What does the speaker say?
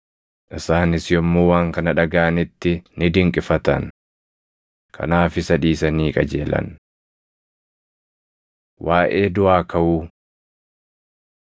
Isaanis yommuu waan kana dhagaʼanitti ni dinqifatan. Kanaaf isa dhiisanii qajeelan. Waaʼee Duʼaa Kaʼuu 22:23‑33 kwf – Mar 12:18‑27; Luq 20:27‑40